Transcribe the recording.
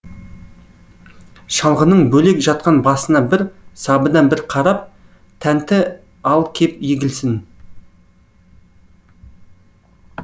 шалғының бөлек жатқан басына бір сабына бір қарап тәнті ал кеп егілсін